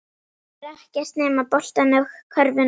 Sér ekkert nema boltann og körfuna.